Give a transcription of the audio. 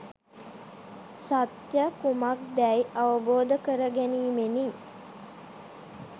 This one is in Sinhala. සත්‍යය කුමක්දැයි අවබෝධ කරගැනීමෙනි.